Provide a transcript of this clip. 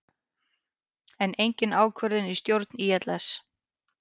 Enn engin ákvörðun í stjórn ÍLS